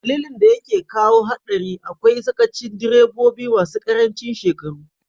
Dalilin da yake kawo hadari akwai sakacin direbobi masu karancin shekaru.